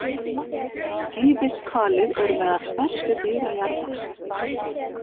Skíðishvalir eru meðal stærstu dýra jarðar.